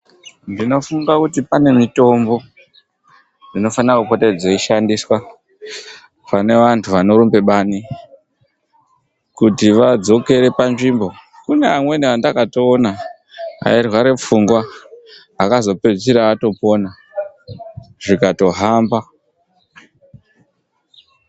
Ndinofunga kuti pane mitombo inofane kupota dzeishandiswa, pane vantu vanorumbe bani, kuti vadzokere panzvimbo. Kune amweni endakatoona airware pfungwa akazopedzisira atopona zvikatohamba.